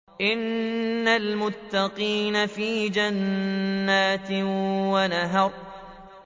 إِنَّ الْمُتَّقِينَ فِي جَنَّاتٍ وَنَهَرٍ